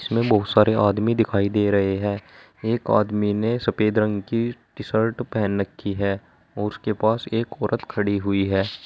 इसमें बहोत सारे आदमी दिखाई दे रहे हैं एक आदमी ने सफेद रंग की टी शर्ट पहन रखी है और उसके पास एक औरत खड़ी हुई है।